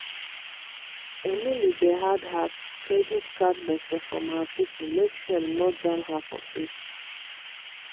emily dey hide her credit card gbese from her people make shame no jam her for face.